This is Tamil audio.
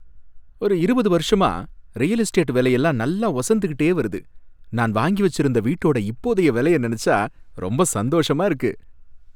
ஒரு இருபது வருஷமா ரியல் எஸ்டேட் விலையெல்லாம் நல்லா ஒசந்துகிட்டே வருது. நான் வாங்கி வச்சிருந்த வீட்டோட இப்போதைய விலைய நினைச்சா ரொம்ப சந்தோஷமா இருக்கு.